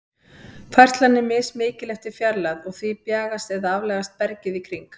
Færslan er mismikil eftir fjarlægð, og því bjagast eða aflagast bergið í kring.